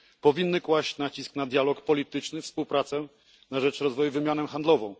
powinny kłaść nacisk na dialog polityczny, współpracę na rzecz rozwoju i wymianę handlową.